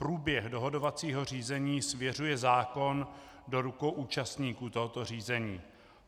Průběh dohodovacího řízení svěřuje zákon do rukou účastníků tohoto řízení.